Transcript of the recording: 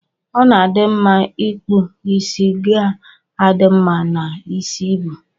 Ọna adi mma ipkụ isi ga adi mma na isi ibu.